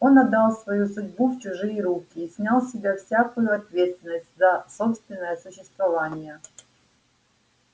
он отдал свою судьбу в чужие руки и снял с себя всякую ответственность за собственное существование